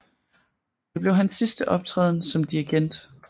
Det blev hans sidste optræden som dirigent